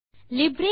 அனைவருக்கும் வணக்கம்